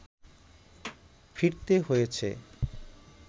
ফিরতে হয়েছে